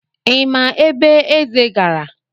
Ị ma ebe Eze gara?